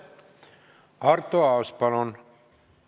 Arto Aas, palun!